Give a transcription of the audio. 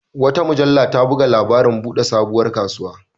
Wata mujalla ta buga labarin buɗe sabuwar kasuwa.